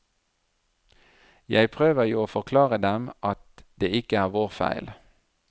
Jeg prøver jo å forklare dem at det ikke er vår feil.